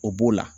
O b'o la